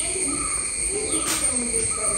मैले निकै दुखित अनुभूत गरेँ।